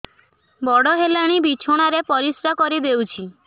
ବଡ଼ ହେଲାଣି ବିଛଣା ରେ ପରିସ୍ରା କରିଦେଉଛି